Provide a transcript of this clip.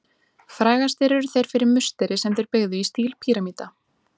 Frægastir eru þeir fyrir musteri sem þeir byggðu í stíl píramída.